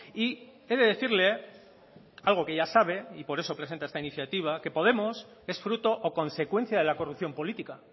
y he de decirle algo que ya sabe y por eso presenta esta iniciativa que podemos es fruto o consecuencia de la corrupción política